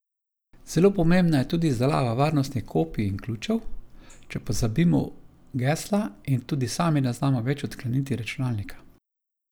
Zelo pomembna je tudi izdelava varnostnih kopij in ključev, če pozabimo gesla in tudi sami ne znamo več odkleniti računalnika.